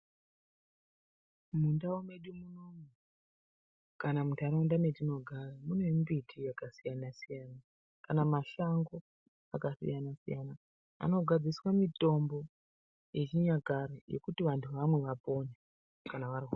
Mundau medu munomu kana munharaunda mwetinogara mune mimbiti yakasiyana siyana kana mashango akasiyana siyana anogadziriswa mitombo yechinyakare yekuti vantu vamwe vapone kana varwara.